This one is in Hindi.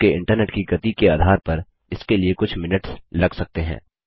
आपके इंटरनेट की गति के आधार पर इसके लिए कुछ मिनट्स लग सकते हैं